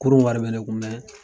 Kurun wari bɛ ne kun